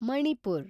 Manipur